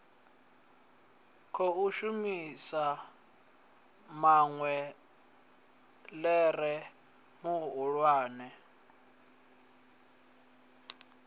khou shumisa maḽe ḓere mahulwane